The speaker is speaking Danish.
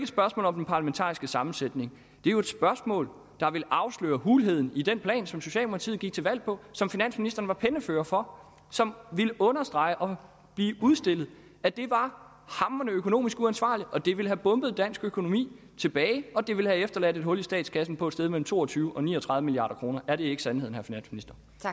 spørgsmål om den parlamentariske sammensætning det er jo et spørgsmål der vil afsløre hulheden i den plan som socialdemokratiet gik til valg på som finansministeren var pennefører for og som ville understrege og udstille at det var hamrende økonomisk uansvarligt at det ville have bombet dansk økonomi tilbage og at det ville have efterladt et hul i statskassen på et sted mellem to og tyve og ni og tredive milliard kroner er det ikke sandheden vil